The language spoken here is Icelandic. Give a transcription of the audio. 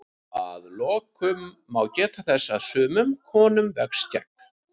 Að lokum má geta þess að sumum konum vex skegg.